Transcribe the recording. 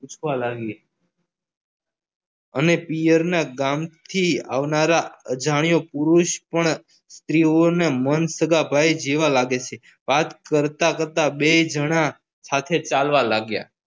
પૂછવા લાગે અને પિયરના ગામ થી આવનારા અજાણ્યો પુરુષ પણ સ્ત્રીઓને મંદ જેવા સગા ભાઇ લાગે છે વાત કરતા કરતા બે જણા સાથે ચાલવા લાગ્યા